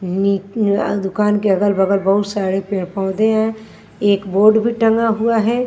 दुकान के अगल-बगल बहुत सारे पेड़ पौधे हैं एक बोर्ड भी टंगा हुआ है।